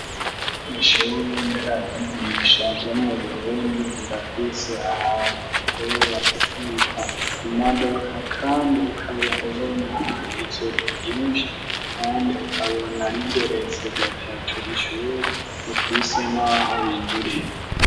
Ishure nderavyigisha ryamuburundi rirafise ahantu asobora gukikwa imaduka, kandi ukaba ubonaha itsuku ryinshi, kandi ukabona rigeretse gatatu rishure rifise n'aho winzurira.